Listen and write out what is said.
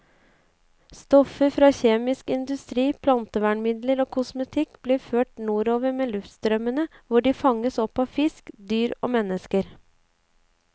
Stoffer fra kjemisk industri, plantevernmidler og kosmetikk blir ført nordover med luftstrømmene, hvor de fanges opp av fisk, dyr og mennesker.